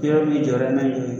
yɔrɔ min jɔra n'a ye